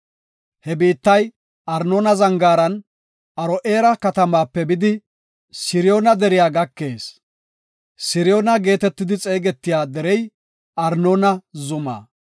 He biittay Arnoona zangaaran Aro7eera katamaape bidi, Siriyoona deriya gakees; Siriyoona geetetidi xeegetiya derey Armoona zuma.